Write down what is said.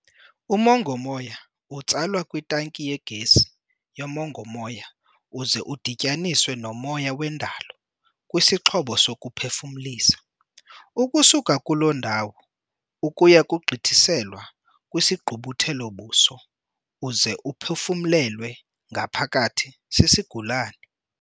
Umongo-moya utsalwa kwitanki yegesi yomongo-moya uze udityaniswe nomoya wendalo kwisixhobo sokuphefumlisa, ukusuka kulo ndawo ukuya kugqithiselwa kwisigqubuthelo-buso uze uphefumlelwe ngaphakathi sisigulane.